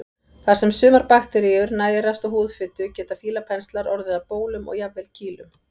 Þar sem sumar bakteríur nærast á húðfitu geta fílapenslar orðið að bólum og jafnvel kýlum.